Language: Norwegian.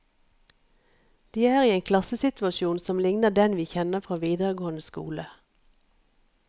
De er i en klassesituasjon som ligner den vi kjenner fra videregående skole.